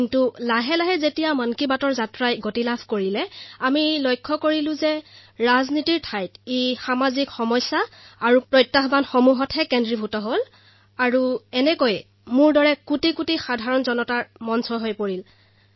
কিন্তু কাৰ্যসূচী সম্প্ৰচাৰ হোৱাৰ লগে লগে আমি প্ৰত্যক্ষ কৰিলো যে ইয়াত ৰাজনীতিৰ পৰিৱৰ্তে সামাজিক সমস্যা আৰু প্ৰত্যাহ্বানসমূহৰ বিষয়ে আলোচনা হবলৈ ধৰিলে আৰু এইদৰে মোৰ দৰে কোটি কোটি লোক ইয়াৰ সৈতে জড়িত হৈ পৰিল